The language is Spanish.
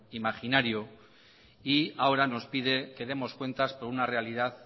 imaginario y ahora nos pide que demos cuentas por una realidad